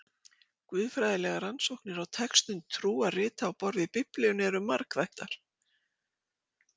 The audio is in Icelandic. guðfræðilegar rannsóknir á textum trúarrita á borð við biblíuna eru margþættar